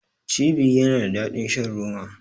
Cibi yana da daɗin shan roma.